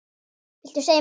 Viltu segja mér það?